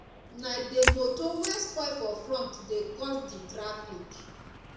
na di motor wey spoil for front dey cause di traffic